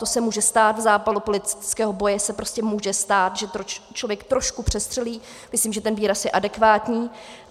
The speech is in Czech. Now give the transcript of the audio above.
To se může stát, v zápalu politického boje se prostě může stát, že člověk trošku přestřelí, myslím, že ten výraz je adekvátní.